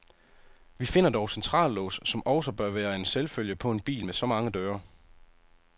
Vi finder dog centrallås, som også bør være en selvfølge på en bil med så mange døre.